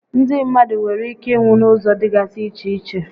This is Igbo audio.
Ndị mmadụ nwèrè íké ịnwụ n'ụzọ dịgasị iche iche